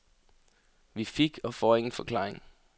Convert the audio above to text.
Vi fik og får ingen forklaring.